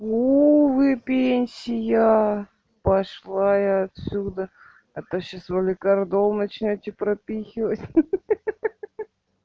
ну вы пенсия пошла я отсюда а то сейчас валикардол начнёте прописывать ха-ха